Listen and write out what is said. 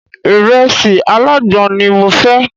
Ìrẹsì alágbọn ni mo fẹ́.